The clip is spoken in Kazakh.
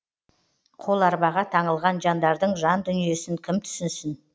қоларбаға таңылған жандардың жан дүниесін кім түсінсін